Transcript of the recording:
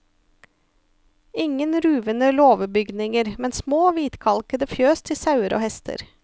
Ingen ruvende låvebygninger, men små, hvitkalkede fjøs til sauer og hester.